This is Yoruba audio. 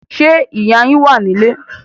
Ṣé ìyá yín wà ní ilé?